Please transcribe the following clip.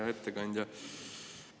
Hea ettekandja!